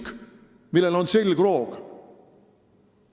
See on riik, millel on selgroog.